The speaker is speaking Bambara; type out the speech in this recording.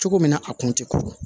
Cogo min na a kun tɛ ko ye